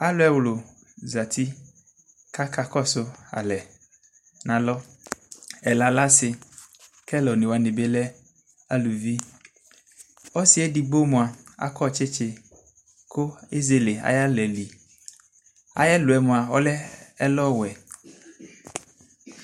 Alu ɛwlu zati kaka kɔso alɛ nalɔ ɛla lɛ ase kɛ ɛlune wane be lɛ aluviƆsiɛ edigbo moa akɔ tsetse ko ezele ayela li Ayɛlɔɛ moa ɔlɛ ɛlɔwɛ